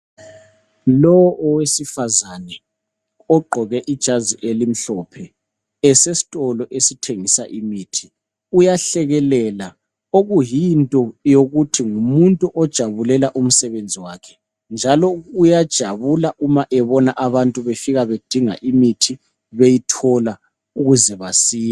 Lo owesifazane ogqoke ijazi elimhlophe, esestolo esithengisa imithi uyahlekelela, okuyinto yokuthi ngumuntu ojabulela umsebenzi wakhe, njalo uyajabula uma ebona abantu befika bedinga imithi ukuze basile.